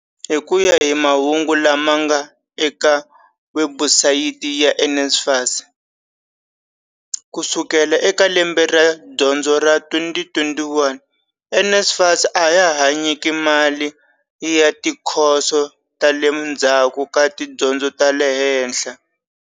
Hi ku ya hi mahungu lama nga eka webusayiti ya NSFAS, ku sukela eka lembe ra dyondzo ra 2021, NSFAS a ya ha nyiki mali ya tikhoso ta le ndzhaku ka tidyondzo ta le henhla.